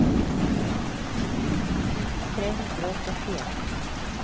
fjorten tusen tre hundre og trettien